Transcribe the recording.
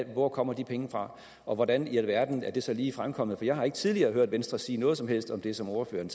hvor kommer de penge fra og hvordan i alverden er det så lige fremkommet for jeg har ikke tidligere hørt venstre sige noget som helst om det som ordføreren